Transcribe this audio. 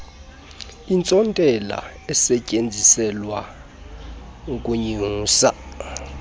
intsontela esetyenziselwa ukunyusa